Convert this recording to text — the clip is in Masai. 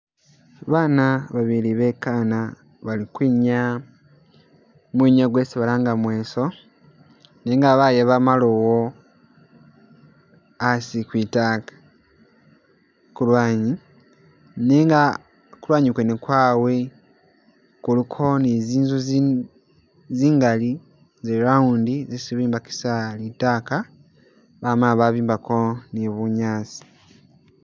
Baana babili bekana bali kwinyaa, mwinyawo kwesi balanga mweso, nenga bayaba maloowo a'asi kwitaka kulwanyi, nenga kulwanyi kwene kwaawe kuliko ni zinzu zingaali za round zisi bobikisa litaka bamala babimbako ni bunyaasi